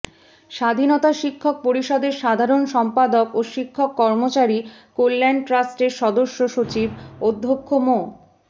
স্বাধীনতা শিক্ষক পরিষদের সাধারণ সম্পাদক ও শিক্ষক কর্মচারী কল্যাণ ট্রাস্টের সদস্য সচিব অধ্যক্ষ মো